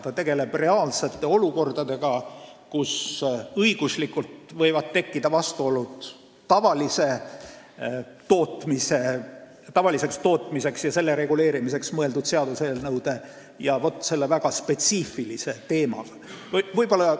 Ta tegeleb reaalsete olukordadega, kus võivad tekkida õiguslikud vastuolud tavalise tootmise ja selle reguleerimiseks mõeldud seaduste ja selle väga spetsiifilise teema vahel.